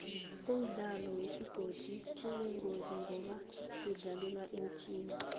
umdlalo wesigodo uyingozi ngoba kudlalelwa emthini